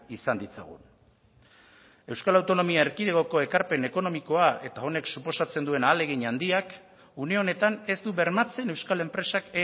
izan ditzagun euskal autonomia erkidegoko ekarpen ekonomikoa eta honek suposatzen duen ahalegin handiak une honetan ez du bermatzen euskal enpresak